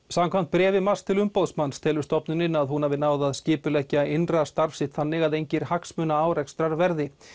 samkvæmt bréfi MAST til umboðsmanns telur stofnunin að hún hafi náð að skipuleggja innra starf sitt þannig að engir hagsmunaárekstrar verði